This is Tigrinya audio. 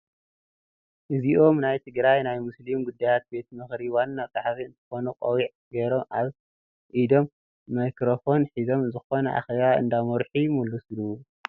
እዚኦም ናይ ትግራይ ናይ ሙስሊም ጉዳያት ቤት ምክሪ ዋና ፀሓፊ እንትኮኑ ቆቢዕ ገይሮም አብ ኢዶም ማይክሮፎን ሒዞም ዝኮነ አኬባ እንዳመርሑ ይመስሉ፡፡